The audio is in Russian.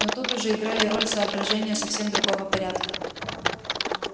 но тут уже играли роль соображения совсем другого порядка